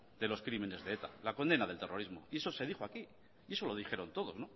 de los crímenes de eta la condena del terrorismo y eso se dijo aquí y eso lo dijeron todos